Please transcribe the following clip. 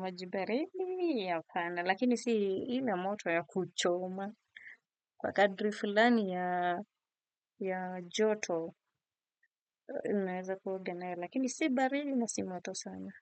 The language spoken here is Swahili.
Maji baridi hapana, lakini si ile moto ya kuchoma. Kwa kadri filani ya joto, naweza kuoga nayo, lakini si baridi na si moto sana.